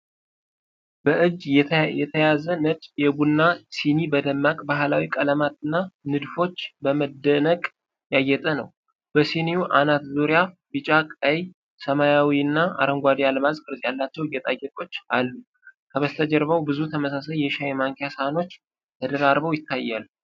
በእጅ የተያዘ ነጭ የቡና ሲኒ በደማቅ ባሕላዊ ቀለማትና ንድፎች በመደነቅ ያጌጠ ነው። በሲኒው አናት ዙሪያ ቢጫ፣ ቀይ፣ ሰማያዊና አረንጓዴ አልማዝ ቅርጽ ያላቸው ጌጣጌጦች አሉ። ከበስተጀርባው ብዙ ተመሳሳይ የሻይ ማንኪያ ሳህኖች ተደራርበው ይታያሉ።